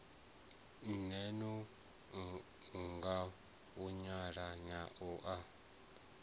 mee ṅo ngavhuyanyana u a